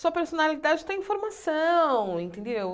Sua personalidade está em formação, entendeu?